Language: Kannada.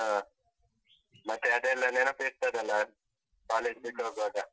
ಹಾ. ಮತ್ತೆ ಅದೆಲ್ಲ ನೆನಪಿರ್ತದಲ್ಲಾ, college ಬಿಟ್ ಹೋಗ್ವಾಗ?